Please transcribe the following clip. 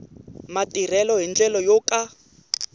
matirhelo hi ndlela yo ka